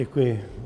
Děkuji.